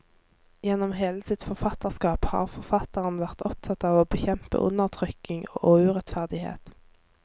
Gjennom hele sitt forfatterskap har forfatteren vært opptatt av å bekjempe undertrykking og urettferdighet.